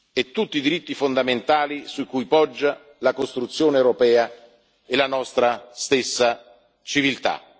e tutti i diritti fondamentali su cui poggia la costruzione europea e la nostra stessa civiltà.